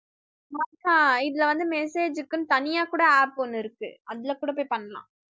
மக்கா இதுல வந்து message க்குன்னு தனியா கூட app ஒண்ணு இருக்கு அதுல கூட போய் பண்ணலாம்